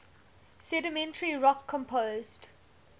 sedimentary rock composed